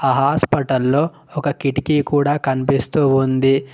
ఆ హాస్పటల్లో ఒక కిటికీ కూడా కనిపిస్తూ ఉంది.